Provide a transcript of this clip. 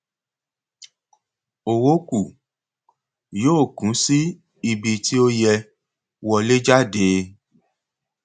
owó kù yóò kún sí ibi tí ó yẹ wọléjáde